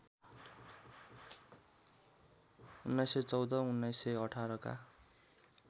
१९१४ १९१८ का